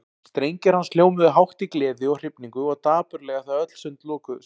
Strengir hans hljómuðu hátt í gleði og hrifningu og dapurlega þegar öll sund lokuðust.